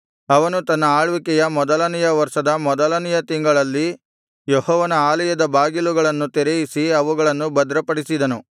ಅವನು ತನ್ನ ಆಳ್ವಿಕೆಯ ಮೊದಲನೆಯ ವರ್ಷದ ಮೊದಲನೆಯ ತಿಂಗಳಲ್ಲಿ ಯೆಹೋವನ ಆಲಯದ ಬಾಗಿಲುಗಳನ್ನು ತೆರೆಯಿಸಿ ಅವುಗಳನ್ನು ಭದ್ರಪಡಿಸಿದನು